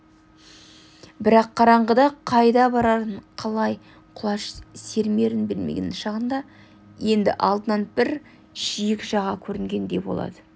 бірақ қараңғыда қайда барарын қалай құлаш сермерін білмеген шағында енді алдынан бір жиек жаға көрінгендей болады